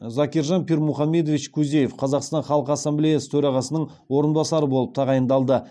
закиржан пирмухамедович кузиев қазақстан халқы ассамблеясы төрағасының орынбасарлары болып тағайындалды